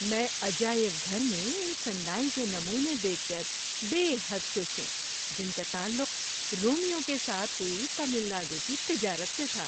میں عجائب گھر میں ان صناعی کے نمونے دیکھ کر بے حد خوش ہوں جن کا تعلق رومیوں کے ساتھ ہوئی تمل ناڈو کی تجارت سے تھا۔